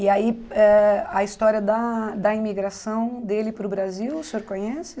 E aí, eh a história da da imigração dele para o Brasil, o senhor conhece?